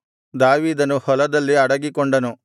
ದಾವೀದನು ಹೊಲದಲ್ಲಿ ಅಡಗಿಕೊಂಡನು